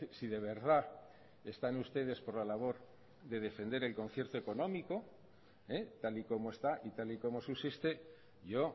si de verdad están ustedes por la labor de defender el concierto económico tal y como está y tal y como subsiste yo